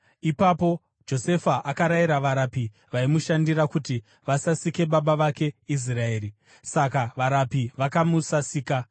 Ipapo Josefa akarayira varapi vaimushandira kuti vasasike baba vake Israeri. Saka varapi vakamusasika,